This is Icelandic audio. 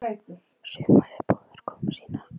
Sumarið boðar komu sína.